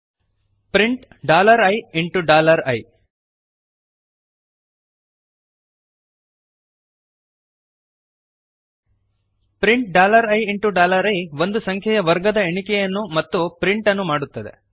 print ii print dollar I into dollar I print ii ಒಂದು ಸಂಖ್ಯೆಯ ವರ್ಗದ ಎಣಿಕೆಯನ್ನು ಮತ್ತು ಪ್ರಿಂಟ್ ಅನ್ನು ಮಾಡುತ್ತದೆ